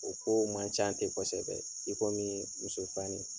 O kow man ca tɛ kosɛbɛ i komi ye muso fani.